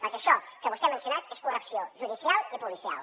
perquè això que vostè ha mencionat és corrupció judicial i policial